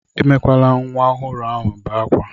Emela ka nwa ọhụrụ ahụ bé akwa!